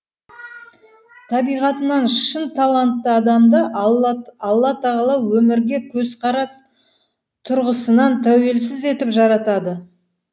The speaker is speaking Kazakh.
табиғатынан шын талантты адамды алла тағала өмірге көзқарас тұрғысынан тәуелсіз етіп жаратады